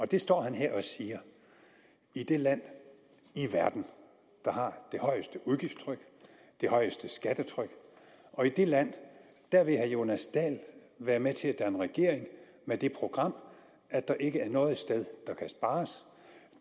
det står han her og siger i det land i verden der har det højeste udgiftstryk og det højeste skattetryk i det land vil herre jonas dahl være med til at danne regering med det program at der ikke er noget sted